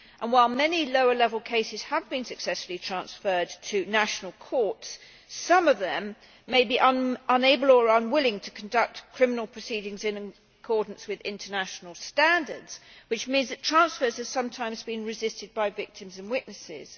While many lower level cases have been successfully transferred to national courts, some of them may be unable or unwilling to conduct criminal proceedings in accordance with international standards, which means that transfers are sometimes being resisted by victims and witnesses.